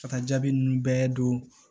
Ka taa jaabi ninnu bɛɛ don